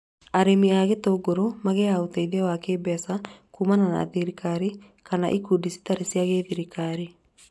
Arĩmi a itũngũrũ magĩaga ũteithio wa kĩmbeca kumana na thirikari kana ikundi citarĩ cia gĩthirikari